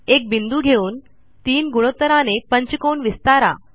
एक बिंदू घेऊन 3 गुणोत्तराने पंचकोन विस्तारा